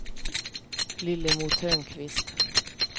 Lillemor Törnqvist